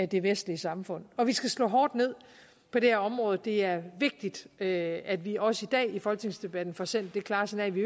det vestlige samfund og vi skal slå hårdt ned på det her område det er vigtigt at at vi også i dag i folketingsdebatten får sendt det klare signal at vi